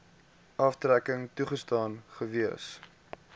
aftrekking toegestaan gewees